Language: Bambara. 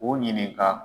U ɲininka